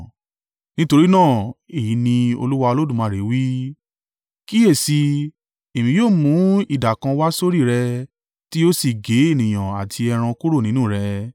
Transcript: “ ‘Nítorí náà, èyí ní Olúwa Olódùmarè wí: Kíyèsi, Èmi yóò mú idà kan wá sórí rẹ tí yóò sì gé ènìyàn àti ẹran kúrò nínú rẹ.